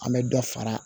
An bɛ dɔ fara